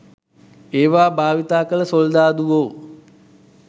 ඒවා භාවිතා කළ සොල්දාදුවෝ